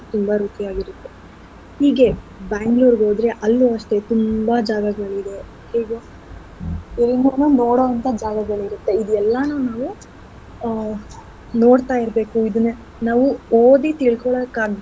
ತುಂಬಾ ರುಚಿಯಾಗಿರತ್ತೆ. ಹೀಗೆ Bangalore ಗ್ ಹೋದ್ರೆ ಅಲ್ಲೂ ಅಷ್ಟೇ ತುಂಬಾ ಜಾಗಗಳಿವೆ. ಹೀಗೆ ಇಲ್ಲುನು ನೋಡೋ ಅಂಥ ಜಾಗಗಳಿರತ್ತೆ ಇದ್ ಎಲ್ಲಾನೂ ನಾವು ಆ ನೋಡ್ತಾ ಇರ್ಬೇಕು ಆ ಇದನ್ನ ನಾವು ಓದಿ ತಿಳ್ಕೊಳಕ್ ಆಗ್ದೆ.